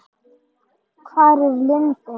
Hvar er lindin?